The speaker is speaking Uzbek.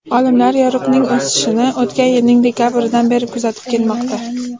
Olimlar yoriqning o‘sishini o‘tgan yilning dekabridan beri kuzatib kelmoqda.